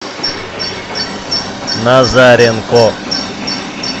назаренко